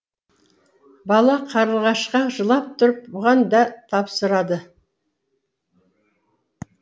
бала қарлығашқа жылап тұрып бұған да тапсырады